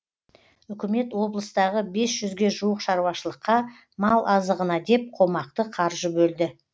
үкімет облыстағы бес жүзге жуық шаруашылыққа мал азығына деп қомақты қаржы бөлді